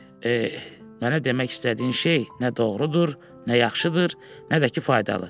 "Mənə demək istədiyin şey nə doğrudur, nə yaxşıdır, nə də ki faydalı."